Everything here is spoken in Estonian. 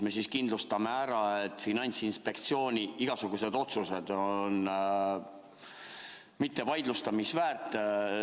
Me siis kindlustame ära, et Finantsinspektsiooni igasugused otsused on mitte vaidlustamist väärt.